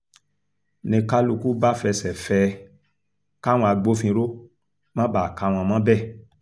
n ní kálukú bá fẹsẹ̀ fẹ́ ẹ káwọn agbófinró má bàa kà wọ́n mọ́bẹ̀